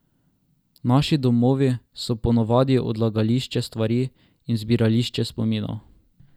Naši domovi so ponavadi odlagališče stvari in zbirališče spominov.